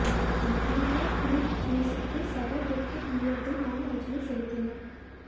மறைந்த பிலிப் ஹியூஸ்க்கு சக கிரிக்கெட் வீரர்கள் மவுன அஞ்சலி செலுத்தினர்